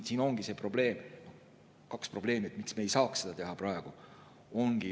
Siin on kaks probleemi, mille tõttu me ei saaks seda praegu teha.